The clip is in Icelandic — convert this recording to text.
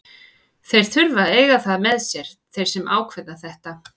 Þeir þurfa að eiga það með sér, þeir sem ákveða þetta.